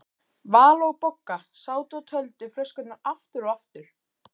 Vala og Bogga sátu og töldu flöskurnar aftur og aftur.